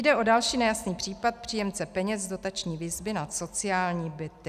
Jde o další nejasný případ příjemce peněz z dotační výzvy na sociální byty.